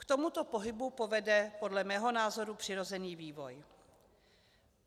K tomuto pohybu povede podle mého názoru přirozený vývoj.